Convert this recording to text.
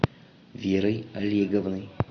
верой олеговной